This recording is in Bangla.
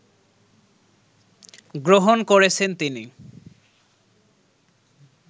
গ্রহণ করেছেন তিনি